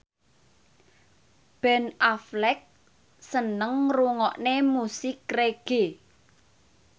Ben Affleck seneng ngrungokne musik reggae